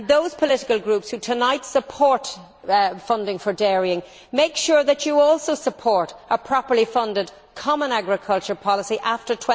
I would say to those political groups who tonight support funding for dairying make sure that you also support a properly funded common agricultural policy after